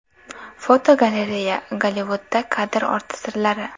Fotogalereya: Gollivudda kadr orti sirlari.